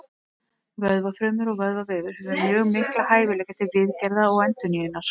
Vöðvafrumur og vöðvavefur hefur mjög mikla hæfileika til viðgerða og endurnýjunar.